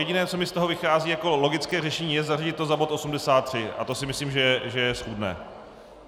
Jediné, co mi z toho vychází jako logické řešení, je zařadit to za bod 83 a to si myslím, že je schůdné.